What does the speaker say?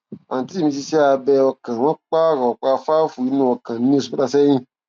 àǹtí mi ṣe iṣẹ abẹ ọkàn wọn pààrọ ọpá fáàfù inú ọkàn ní oṣù mẹta sẹyìn